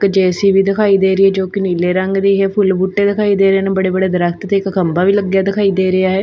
JCB ਦਿਖਾਈ ਦੇ ਰਹੀ ਜੋ ਕਿ ਨੀਲੇ ਰੰਗ ਦੀ ਹੈ ਫੁੱਲ ਬੂਟੇ ਦਿਖਾਈ ਦੇ ਰਹੇ ਨੇ ਬੜੇ ਬੜੇ ਦਰਖਤ ਤੇ ਇੱਕ ਖੰਭਾ ਵੀ ਲੱਗਿਆ ਦਿਖਾਈ ਦੇ ਰਿਹਾ ਹੈ।